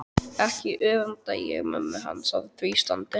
Ekki öfunda ég mömmu hans af því standi